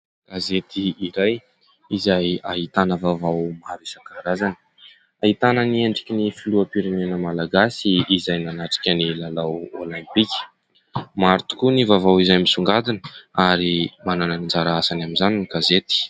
Gazety iray izay ahitana vaovao maro isan-karazany. Ahitana ny endriky ny filoham-pirenena malagasy izay nanatrika ny lalao olimpika. Maro tokoa ny vaovao izay misongadina ary manana ny anjara asany amin'izany ny gazety.